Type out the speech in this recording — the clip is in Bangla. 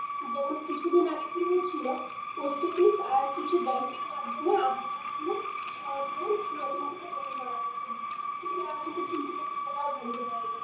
যেমন কিছুদিন আগে কি হচ্ছিল post office আর কিছু bank এর মাধ্যমে aadhaar card গুলো সংশোধন আর নতুন করে তৈরি করা হচ্ছিল কিন্তু এখন তো শুনছি নাকি সেইটাও বন্ধ হয়ে গেছে।